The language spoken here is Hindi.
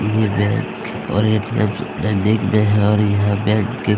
ये बैंक और ए_टी_एम नजदीक में है और यह बैंक की --